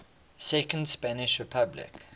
second spanish republic